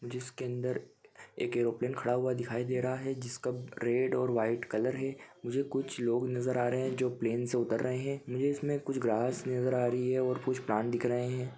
जिसके अंदर एक एयरोप्लेन खड़ा हुआ दिखाई दे रहा है जिसका रेड और वाइट कलर है मुझे कुछ लोग नज़र आ रहे है जो प्लेन से उतर रहे है मुझे इसमें कुछ ग्रास नज़र आ रही है और कुछ प्लांट दिख रहे है।